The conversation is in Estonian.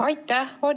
Aitäh!